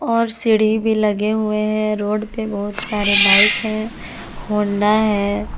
और सीढ़ी भी लगे हुए है रोड पे बहुत सारे बाइक है होंडा है।